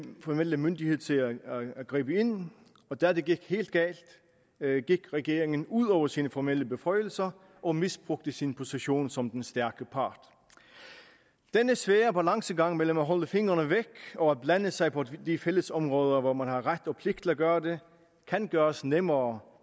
formelle myndighed til at gribe ind og da det gik helt galt gik regeringen ud over sine formelle beføjelser og misbrugte sin position som den stærke part denne svære balancegang mellem at holde fingrene væk og at blande sig på de fællesområder hvor man har ret og pligt til at gøre det kan gøres nemmere